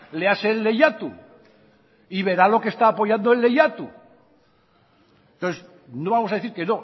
léase el lehiatu y verá lo que está apoyando el lehiatu entonces no vamos a decir que